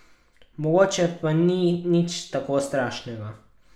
Mogoče pa ni nič tako strašnega.